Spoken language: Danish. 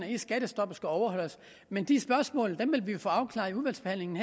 i skattestoppet skal overholdes men de spørgsmål vil vi få afklaret i udvalgsbehandlingen